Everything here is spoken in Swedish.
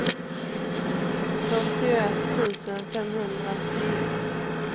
fyrtioett tusen femhundratio